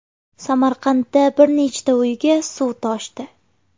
Samarqandda bir nechta uyga suv toshdi.